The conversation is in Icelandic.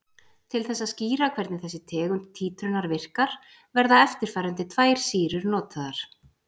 Til þess að skýra hvernig þessi tegund títrunar virkar verða eftirfarandi tvær sýrur notaðar.